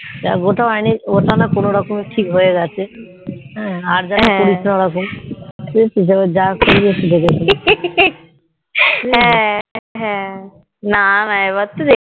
যা ওটা না কোনো কোনো রকমে ঠিক হয়েগেছে আর যেন করিস না ওরকম এবার যা করবি একটু দেখে শুনে করবি